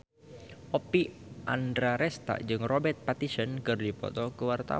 Oppie Andaresta jeung Robert Pattinson keur dipoto ku wartawan